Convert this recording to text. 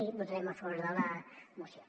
i votarem a favor de la moció